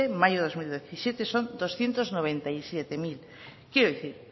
mayo de dos mil diecisiete son doscientos noventa y siete mil quiero decir